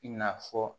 I n'a fɔ